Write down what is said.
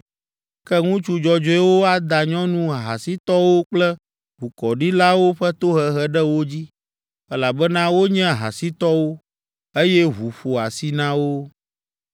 Ke ŋutsu dzɔdzɔewo ada nyɔnu ahasitɔwo kple ʋukɔɖilawo ƒe tohehe ɖe wo dzi, elabena wonye ahasitɔwo, eye ʋu ƒo asi na wo.